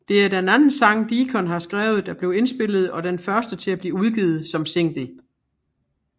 Det er den anden sang Deacon har skrevet der blev indspillet og den første til at blive udgivet som single